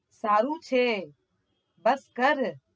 સારું છે બસ કર